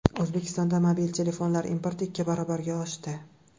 O‘zbekistonda mobil telefonlar importi ikki barobarga oshdi.